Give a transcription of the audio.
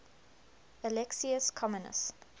alexius comnenus